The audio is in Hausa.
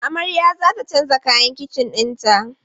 Amarya za ta canza kayan kicin ɗinta.